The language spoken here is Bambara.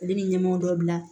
Ale ni ɲɛmaaw dɔ bila